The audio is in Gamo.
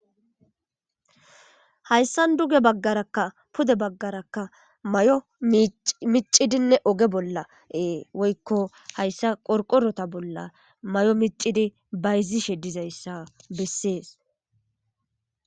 Hayssa duge baggarakka pude baggarakka may7o micidinne oge bolla ee woykko hayssa qorqorota bolla may7o micidi bayzishe dizayssa bessees.